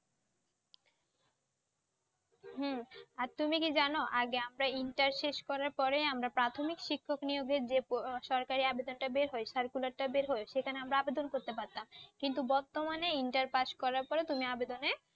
হম। আর তুমি কি জানো আগে আমরা inter শেষ করার পরে আমরা প্রাথমিক শিক্ষক নিয়োগের যে আহ সরকারি বের হয় circular টা বের হয় সেখানে আমরা আবেদন করতে পারতাম। কিন্তু বর্তমানে inter pass করার পরে তুমি আবেদনে